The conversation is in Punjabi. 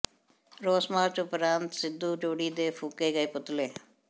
ਰੋਸ ਮਾਰਚ ਉਪਰੰਤ ਸਿਧੂ ਜੋੜੀ ਦੇ ਫੂਕੇ ਗਏ ਪੁਤਲੇ